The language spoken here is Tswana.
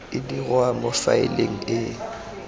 e dirwa mo faeleng e